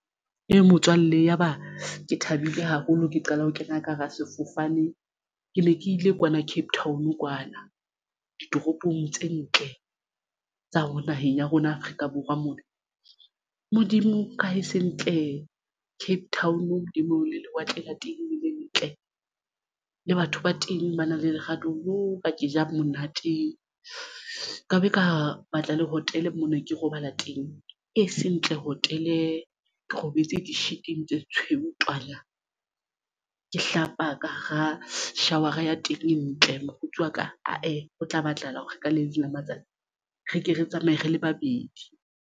Ee, motswalle ya ba ke thabile haholo ke qala ho kena ka hara sefofane. Ke ne ke ile kwana Cape Town kwana ditoropong tse ntle tsa ho naheng ya rona Afrika Borwa mona. Modimo ka he se ntle Cape Town le moo le lewatle la teng le ntle le batho ba teng ba na le lerato bo ka ke ja monate ka be ka batla le hotel mona. Ke robala teng e seng ntle hotel-e ke robetse di-sheet tse tshweu twa! Ke hlapa ka hara shower-a ya teng e ntle mokgotsi wa ka ae ho tla batlahala hore re ka le leng la matsatsi re ke re tsamaye re le babedi.